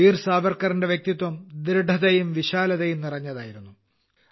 വീർ സാവർക്കറിന്റെ വ്യക്തിത്വം ദൃഢതയും വിശാലതയും നിറഞ്ഞതായിരുന്നു